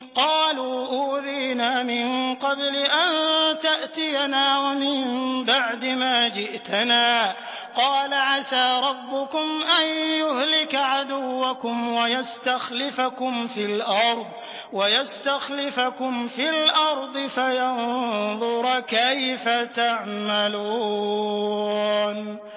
قَالُوا أُوذِينَا مِن قَبْلِ أَن تَأْتِيَنَا وَمِن بَعْدِ مَا جِئْتَنَا ۚ قَالَ عَسَىٰ رَبُّكُمْ أَن يُهْلِكَ عَدُوَّكُمْ وَيَسْتَخْلِفَكُمْ فِي الْأَرْضِ فَيَنظُرَ كَيْفَ تَعْمَلُونَ